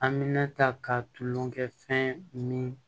An bɛ ne ta ka tulonkɛ fɛn min